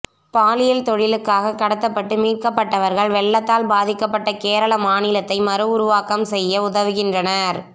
பாலியல் தொழிலுக்காகக் கடத்தப்பட்டு மீட்கப்பட்டவர்கள் வெள்ளத்தால் பாதிக்கப்பட்ட கேரள மாநிலத்தை மறு உருவாக்கம் செய்ய உதவுகின்றனர்